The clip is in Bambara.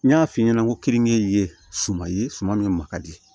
N y'a f'i ɲɛna ko kenige ye suman ye suman min ma ka di